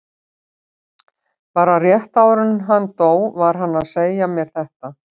Bara rétt áður en hann dó var hann að segja mér þetta.